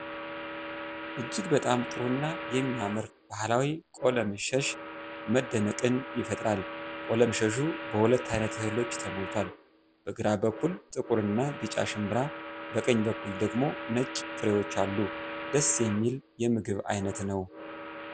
እጅግ በጣም ጥሩ እና የሚያምር ባሕላዊ ቆለምሸስ መደነቅን ይፈጥራል። ቆለምሸሹ በሁለት ዓይነት እህሎች ተሞልቷል፤ በግራ በኩል ጥቁር እና ቢጫ ሽምብራ፣ በቀኝ በኩል ደግሞ ነጭ ፍሬዎች አሉ። ደስ የሚል የምግብ ዓይነት ነው።